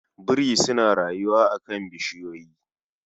Biri suna rayuwa a kan bishiyoyi